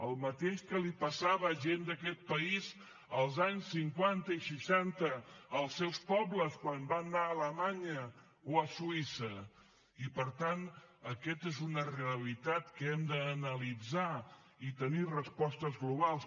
el mateix que li passava a gent d’aquest país els anys cinquanta i seixanta als seus pobles quan van anar a alemanya o a suïssa i per tant aquesta és una realitat que hem d’analitzar i tenir respostes globals